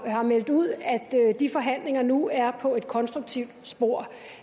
meldt ud at de forhandlinger nu er på et konstruktivt spor